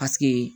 Paseke